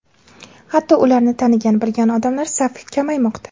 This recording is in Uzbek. Hatto ularni tanigan, bilgan odamlar safi ham kamaymoqda.